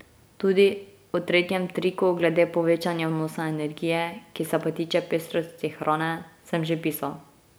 Tudi o tretjem triku glede povečanja vnosa energije, ki se pa tiče pestrosti hrane, sem že pisal.